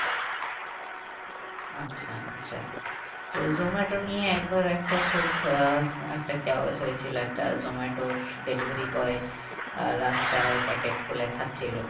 আচ্ছা আচ্ছা তো জোমাটো নিয়ে একবার একটা খুব আহ একটা হয়েছিল একটা জোমাটোর delivery boy আহ রাস্তায় packet খুলে খাচ্ছিলো